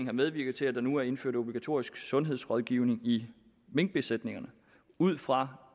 har medvirket til at der nu er indført obligatorisk sundhedsrådgivning i minkbesætningerne ud fra